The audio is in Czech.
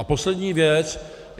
A poslední věc.